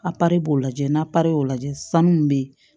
A b'o lajɛ n'a y'o lajɛ sanu min bɛ ye